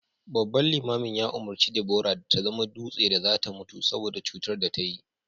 babban limamin ya umurci Debora da ta zama dutse da za ta mutu saboda cutar da ta yi